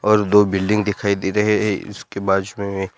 और दो बिल्डिंग दिखाई दे रहे हैं उसके बाजु मे--